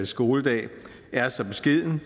skoledag er så beskeden